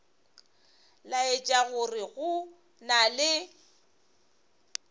laetša gore go na le